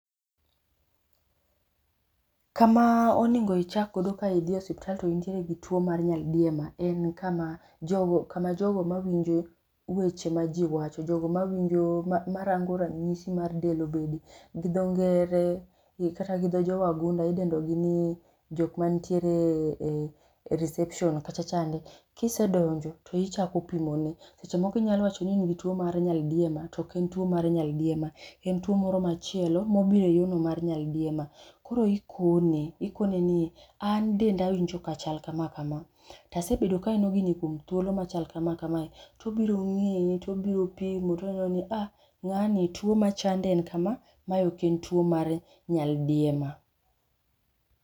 kamaa onego ichak godo ka idhi e osiptal to intiere tuo mar nyaldiema, en kama jogo kama jogo mawinjo weche ma ji wacho jogo mawinjo ma marango ranyisi mar del obed gi dho ngere kata gi dho jo wagunda idendo gi ni jok mantiere e e reception kacha chande, kisedonjo to ichako pimone, seche moko inyalo wacho ni in gi tuo mar nyaldiema to oken tuo mar nyaldiema, en tuo moro machielo mobiro e yono mar nyaldiema koro ikone, ikone ni an denda awinjo kachal kama kama tasebedo kaneno gini kuom thuolo machal kama kamae tobiro ng'iyi tobiro pimo toneno ni ah ng'ani tuo machande en kamaa, ma ok en tuo mar nyaldiema